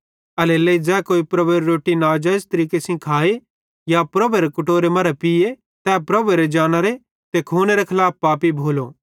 एल्हेरेलेइ ज़ै कोई प्रभुएरे रोट्टी नाजाइज़ तरीके सेइं खाए या प्रभुएरे कटोरे मरां पीये तै प्रभुएरे जानरो ते खूनेरे खलाफ पापी भोलो